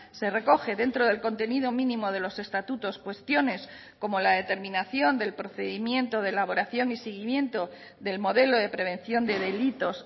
se recoge dentro del contenido mínimo de los estatutos cuestiones como la determinación del procedimiento de elaboración y seguimiento del modelo de prevención de delitos